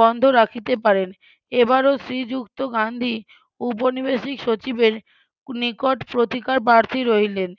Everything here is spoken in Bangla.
বন্ধ রাখিতে পারেন এবারও শ্রীযুক্ত গান্ধী উপনিবেশিক সচিবের নিকট প্রতিকারপ্রার্থী রইলেন